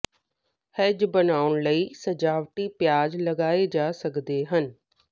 hedge ਬਣਾਉਣ ਲਈ ਸਜਾਵਟੀ ਪਿਆਜ਼ ਲਗਾਏ ਜਾ ਸਕਦੇ ਹਨ